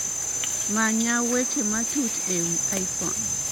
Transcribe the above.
Manya weche matuch ewi iphone